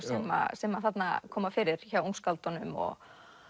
sem þarna koma fyrir hjá ungskáldunum og